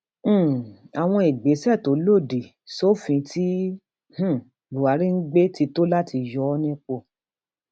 um àwọn ìgbésẹ tó lòdì sófin tí um buhari ń gbé ti tó ìdí láti yọ ọ nípò